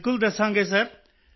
ਬਿਲਕੁਲ ਦੱਸਾਂਗੇ ਸਿਰ